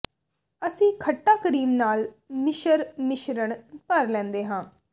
ਅਸੀਂ ਖੱਟਾ ਕਰੀਮ ਨਾਲ ਮਿਸ਼ਰ ਮਿਸ਼ਰਣ ਭਰ ਲੈਂਦੇ ਹਾਂ